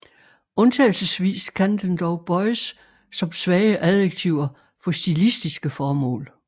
Undtagelsesvis kan den dog bøjes som svage adjektiver for stilistiske formål